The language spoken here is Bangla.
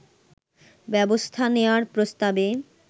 ব্যবস্থা নেয়ার প্রস্তাবে